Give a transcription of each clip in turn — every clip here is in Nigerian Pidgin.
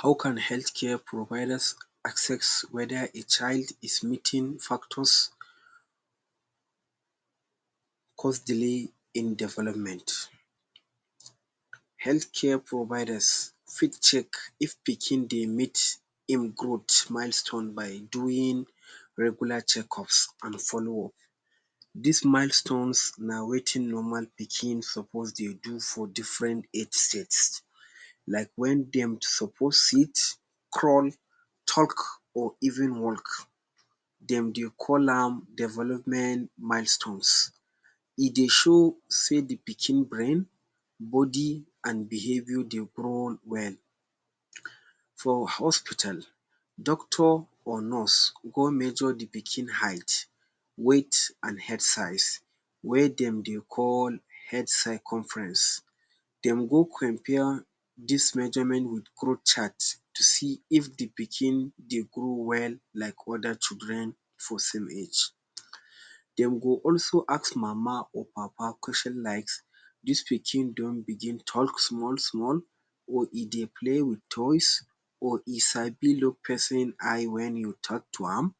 How can health care providers assess whether a child is meeting factors cause delay in development? Health care providers fit check if pikin dey meet im growth milestone by doing regular checkups an follow up. Dis milestones na wetin normal pikin suppose dey do for different for age. Like wen dem suppose sit, crawl, talk, or even walk. Dem dey call am development milestones. E dey show sey the pikin brain, body, an behaviour dey grow well. For hospital, doctor or nurse go measure the pikin height, weight, an head size wey dem dey call head circumference. Dem go compare dis measurement with growth chart to see if the pikin dey grow well like other children for same age. Dem go also ask mama or papa question likes dis pikin don begin talk small-small or e dey play with toys or e sabi liok pesin eye wen you talk to am?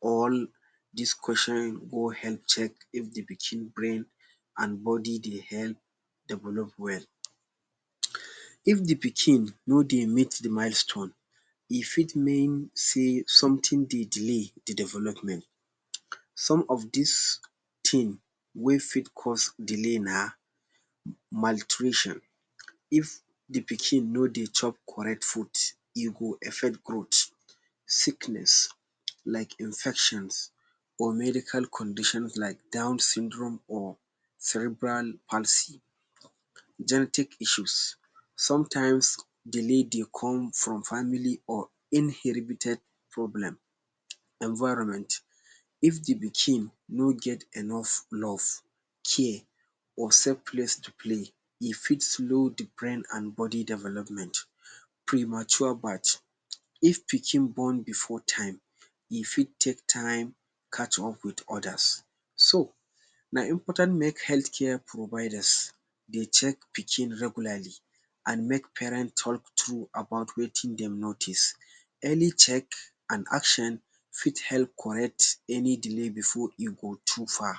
All dis question go help check if the pikin brain an body dey help develop well. If the pikin no dey meet the milestone, e fit mean sey something dey delay the development. Some of dis tin wey fit cause delay na: Maltrition: If the pikin no dey chop correct food, e go affect growth. Sickness: Like infections or medical conditions like down syndrome or cerebral palsy. Genetic issues: Sometimes, delay dey come from family or inheribited problem. Environment: If the pikin no get enough love, care, or safe place to play, e fit slow the brain an body development. Premature birth: If pikin born before time, e fit take time catch up with others. So, na important make health care providers dey check pikin regularly, an make parent talk true about wetin dem notice. Early check an action fit help correct any delay before e go too far.